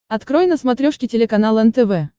открой на смотрешке телеканал нтв